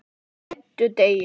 Á FIMMTA DEGI